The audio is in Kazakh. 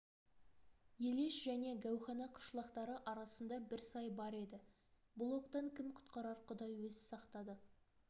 елеш және гәухана қышлақтары арасында бір сай бар енді бұл оқтан кім құтқарар құдай өзі сақтады